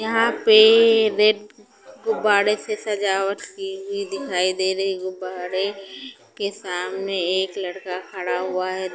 यहाँ पे रेट गुबाड़े से सजावट की हुई दिखाई दे रही हैं गुबाड़े के सामने एक लड़का खड़ा हुआ हैं ।